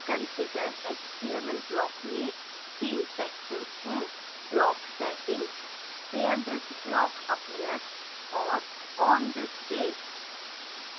configure html block में 3 sections हैं: